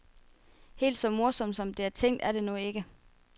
Helt så morsomt som det er tænkt, er det nu ikke.